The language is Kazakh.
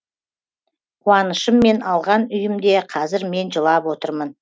қуанышыммен алған үйімде қазір мен жылап отырмын